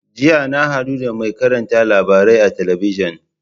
Jiya na haɗu da mai karanta labarai a talabijin.